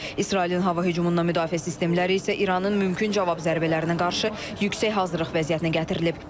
İsrailin hava hücumundan müdafiə sistemləri isə İranın mümkün cavab zərbələrinə qarşı yüksək hazırlıq vəziyyətinə gətirilib.